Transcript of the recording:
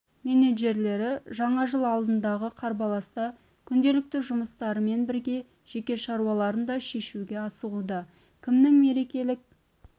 менеджерлері жаңа жыл алдындағы қарбаласта күнделікті жұмыстарымен бірге жеке шаруаларын да шешуге асығуда кімнің мерекелік